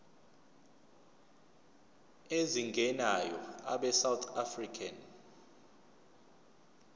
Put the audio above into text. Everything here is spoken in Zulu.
ezingenayo abesouth african